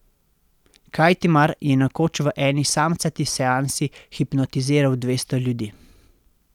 Kajtimar je nekoč v eni samcati seansi hipnotiziral dvesto ljudi.